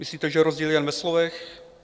Myslíte, že rozdíl je jen ve slovech?